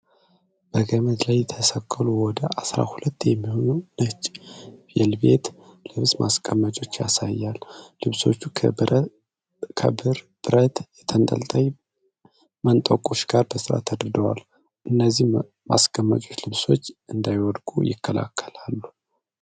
በገመድ ላይ የተሰቀሉ ወደ አሥራ ሁለት የሚሆኑ ነጭ ቬልቬት ልብስ ማስቀመጫዎችን ያሳያል። ልብሶቹ ከብር ብረት ተንጠልጣይ መንጠቆዎች ጋር በሥርዓት ተደርድረዋል። እነዚህ ማስቀመጫዎች ልብሶች እንዳይወድቁ ይከላከላሉ?